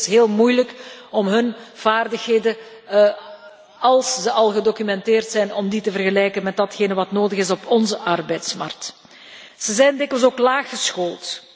Het is dikwijls heel moeilijk om hun vaardigheden, als ze al gedocumenteerd zijn, te vergelijken met datgene wat nodig is op onze arbeidsmarkt. Ze zijn dikwijls ook laaggeschoold.